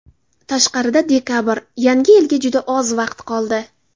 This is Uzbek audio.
Tashqarida dekabr, Yangi yilga juda oz vaqt qoldi.